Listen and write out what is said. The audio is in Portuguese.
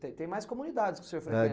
te tem mais comunidades que o senhor